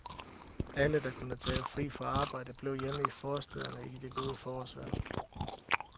Alle, der kunne tage fri fra arbejde, blev hjemme i forstæderne i det gode forårsvejr.